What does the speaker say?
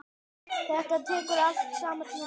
Þetta tekur allt saman tíma.